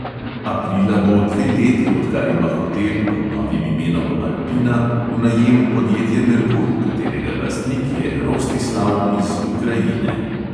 Aprila bo dve leti, odkar ima hotel pod novim imenom alpina v najemu podjetje merkur, katerega lastnik je rostislav iz ukrajine.